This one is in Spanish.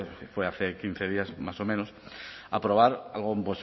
fue hace quince días más o menos aprobar algo